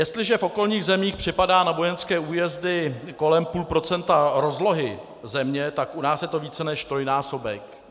Jestliže v okolních zemích připadá na vojenské újezdy kolem půl procenta rozlohy země, tak u nás je to více než trojnásobek.